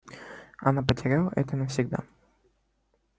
она потеряла это навсегда